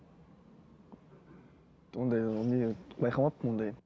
ондай не байқамаппын ондай